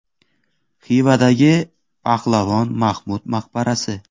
Xivadagi Pahlavon Mahmud maqbarasi.